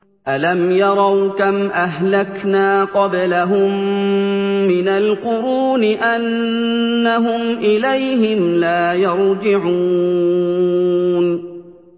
أَلَمْ يَرَوْا كَمْ أَهْلَكْنَا قَبْلَهُم مِّنَ الْقُرُونِ أَنَّهُمْ إِلَيْهِمْ لَا يَرْجِعُونَ